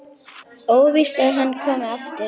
Óvíst að hann komi aftur.